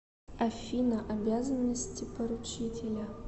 афина обязанности поручителя